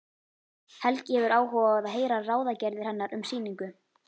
Helgi hefur áhuga á að heyra ráðagerðir hennar um sýningu.